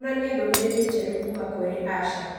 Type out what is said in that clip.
onania ndũmĩrĩri njerũ kuuma kũrĩ asha